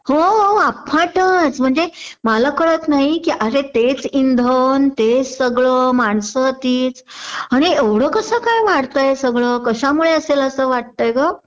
हो अफाटच म्हणजे मला कळत नाही कि अरे तेच इंधन तेच सगळं माणसं तीच आणि एवढं कसं काय वाढतंय सगळं कशामुळे असेल असं वाटतय ग